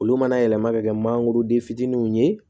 Olu mana yɛlɛma ka kɛ mangoroden fitininw ye